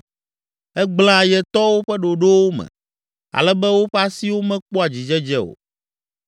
Egblẽa ayetɔwo ƒe ɖoɖowo me, ale be woƒe asiwo mekpɔa dzidzedze o.